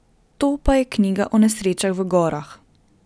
To pa je knjiga o nesrečah v gorah.